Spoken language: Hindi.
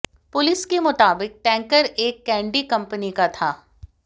पुलिस के मुताबिक टैंकर एक कैंडी कंपनी का था